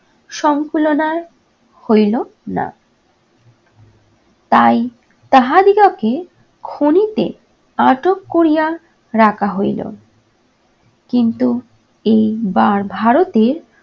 সংকুলনার হইল না। তাই তাহাদিগকে খনিতে আটক করিয়া রাখা হইল কিন্তু এইবার ভারতের